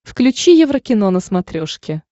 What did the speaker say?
включи еврокино на смотрешке